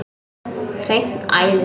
Hreint æði!